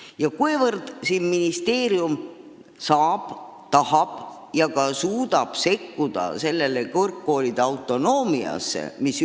Ja küsimus on, kuivõrd ministeerium saab, tahab ja ka suudab kõrgkoolide autonoomiasse sekkuda.